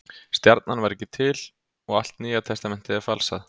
Stjarnan var ekki til og allt Nýja testamentið er falsað.